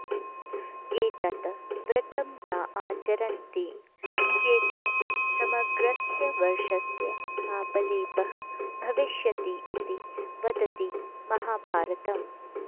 एतत् व्रतं न आचरन्ति चेत् समग्रस्य वर्षस्य पापलेपः भविष्यति इति वदति महाभारतम्